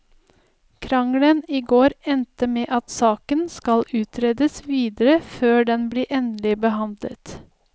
Krangelen i går endte med at saken skal utredes videre før den blir endelig behandlet.